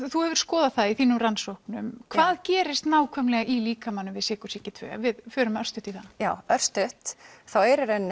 þú hefur skoðað það í þínum rannsóknum hvað gerist nákvæmlega í líkamanum við sykursýki tvö ef við förum örstutt í það já örstutt þá er í rauninni